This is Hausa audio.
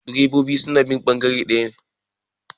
direbobi suna bin bangare daya